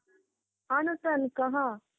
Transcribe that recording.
ହଁ ନୁସାନ କହ